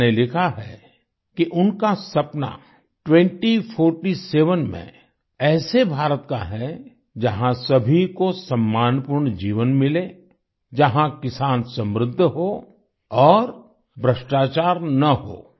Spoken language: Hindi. नव्या ने लिखा है कि उनका सपना 2047 में ऐसे भारत का है जहाँ सभी को सम्मानपूर्ण जीवन मिले जहाँ किसान समृद्ध हो और भ्रष्टाचार न हो